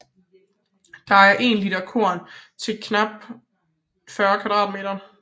Det er én liter korn til knap 40 m²